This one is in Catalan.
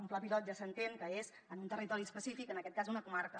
un pla pilot ja s’entén que és en un territori específic en aquest cas una comarca